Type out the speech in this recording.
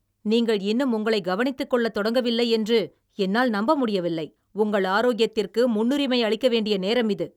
நீங்கள் இன்னும் உங்களை கவனித்துக் கொள்ளத் தொடங்கவில்லை என்று என்னால் நம்ப முடியவில்லை, உங்கள் ஆரோக்கியத்திற்கு முன்னுரிமை அளிக்க வேண்டிய நேரம் இது!